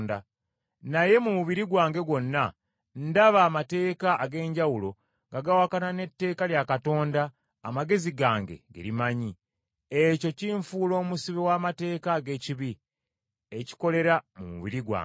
Naye mu mubiri gwange gwonna, ndaba amateeka ag’enjawulo nga gawakana n’etteeka lya Katonda amagezi gange ge limanyi. Ekyo kinfuula omusibe w’amateeka ag’ekibi, ekikolera mu mubiri gwange.